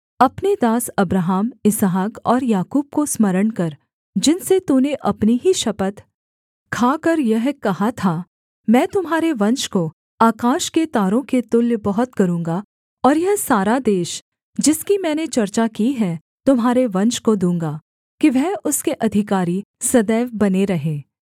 अपने दास अब्राहम इसहाक और याकूब को स्मरण कर जिनसे तूने अपनी ही शपथ खाकर यह कहा था मैं तुम्हारे वंश को आकाश के तारों के तुल्य बहुत करूँगा और यह सारा देश जिसकी मैंने चर्चा की है तुम्हारे वंश को दूँगा कि वह उसके अधिकारी सदैव बने रहें